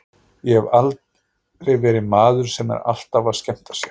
Ég hef aldrei verið maður sem er alltaf að skemmta sér.